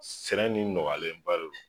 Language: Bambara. Sɛnɛ ni nɔgɔyalen ba de don